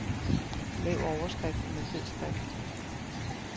Lav overskriften med fed skrift.